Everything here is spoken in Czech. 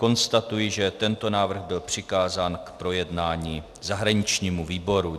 Konstatuji, že tento návrh byl přikázán k projednání zahraničnímu výboru.